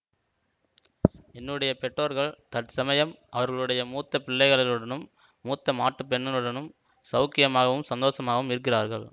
என்னுடைய பெற்றோர்கள் தற்சமயம் அவர்களுடைய மூத்த பிள்ளையுடனும் மூத்த மாட்டுப் பெண்ணுடனும் சௌக்கியமாகவும் சந்தோஷமாகவும் இருக்கிறார்கள்